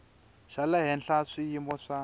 xa le henhla swiyimo swa